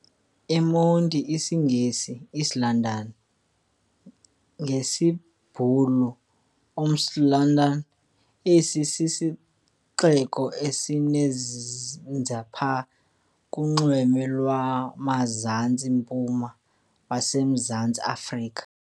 eMonti, isiNgesi- East London, ngesiBhulu- Oos-Londen, esi sisixeko esizinze phaya kunxweme lwamazantsi-mpuma waseMzantsi Afrika.